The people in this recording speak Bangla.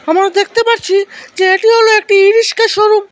আমরা দেখতে পাচ্ছি যে এটি হল একটি ই রিসকা শোরুম ।